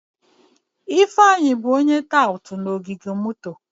Ifeanyi bụ onye tout na ogige moto.